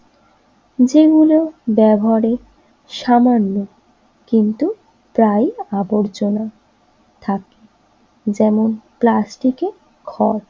যেগুলো ব্যবহারের সামান্য কিন্তু প্রায়ই আবর্জনা থাকে যেমন প্লাস্টিকের ঘর